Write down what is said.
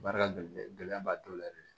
Baara gɛlɛn gɛlɛya ba t'o la yɛrɛ